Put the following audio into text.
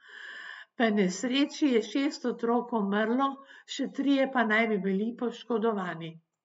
V nesreči je šest otrok umrlo, še trije pa naj bi bili poškodovani.